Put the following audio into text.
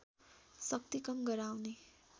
शक्ति कम गराउने